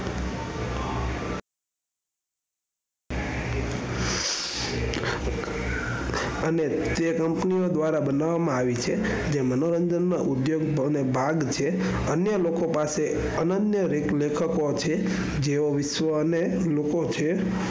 અને તે company દ્વારા બનાવવામાં આવી છે તે મનોરંજન ના ઉદ્યોગ નો ભાગ છે અન્ય લોકો પાસે અનન્ય લેખકો છે જેઓ અને લોકો છે.